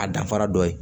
A danfara dɔ ye